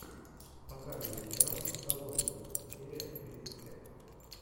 показывай сериал в заложниках серия тридцать пять